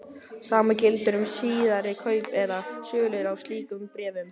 Sama gildir um síðari kaup eða sölur á slíkum bréfum.